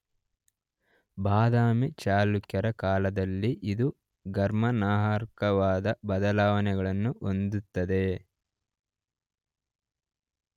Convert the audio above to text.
ಬದಾಮಿ ಚಳುಕ್ಯರ ಕಾಲದಲ್ಲಿ ಇದು ಗಮನಾರ್ಹವಾದ ಬದಲಾವಣೆಗಳನ್ನು ಹೊಂದುತ್ತದೆ.